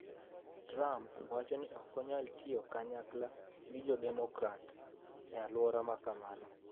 Trump wacho ni ok onyal tiyo kanyakla gi jo demokrats e alwora ma kamano.